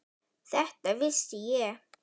Þetta vissi ég.